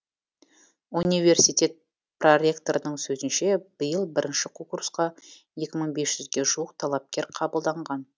университет проректорының сөзінше биыл бірінші курсқа екі мың бес жүзге жуық талапкер қабылданған